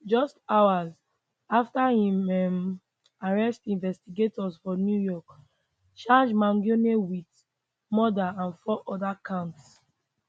just hours afta im um arrest investigators for new york charge mangionewit murderand four oda counts